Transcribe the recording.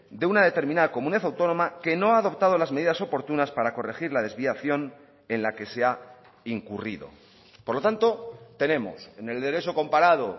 de una determinada comunidad autónoma que no ha adoptado las medidas oportunas para corregir la desviación en la que se ha incurrido por lo tanto tenemos en el derecho comparado